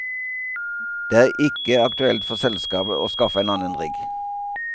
Det er ikke aktuelt for selskapet å skaffe en annen rigg.